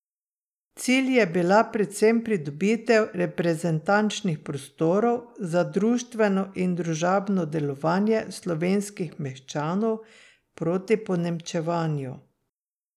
Cilj je bila predvsem pridobitev reprezentančnih prostorov za društveno in družabno delovanje slovenskih meščanov proti ponemčevanju.